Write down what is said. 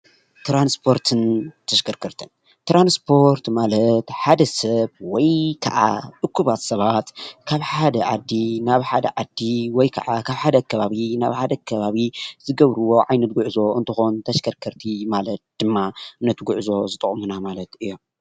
ትራንስፖርትን ተሽከርከርትን፡- ትራንስፖርት ማለት ሓደ ሰብ ወይ ከዓ እኩባት ሰባት ካብ ሓደ ዓዲ ናብ ሓደ ዓዲ ወይ ከዓ ካብ ሓደ ከባቢ ናብ ሓደ ከባቢ ዝገብርዎ ዓይነት ጉዕዞ እንትኮን ተሸከርከርቲ ማለት ድማ ነቲ ጉዕዞ ዝጠቅሙና ማለት እዮም፡፡